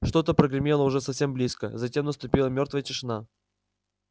что-то прогремело уже совсем близко затем наступила мёртвая тишина